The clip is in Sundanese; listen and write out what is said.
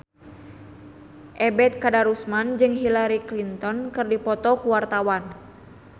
Ebet Kadarusman jeung Hillary Clinton keur dipoto ku wartawan